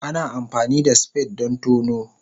Ana amfani da spade don tono.